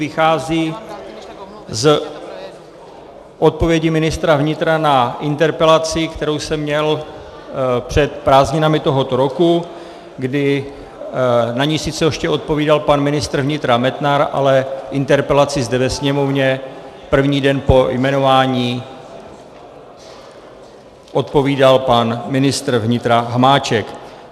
Vychází z odpovědi ministra vnitra na interpelaci, kterou jsem měl před prázdninami tohoto roku, kdy na ni sice ještě odpovídal pan ministr vnitra Metnar, ale interpelaci zde ve Sněmovně první den po jmenování odpovídal pan ministr vnitra Hamáček.